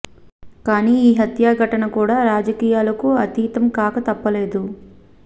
కానీ ఈ హత్యా ఘటన కూడా రాజకీయాలకు అతీతం కాక తప్పలేదు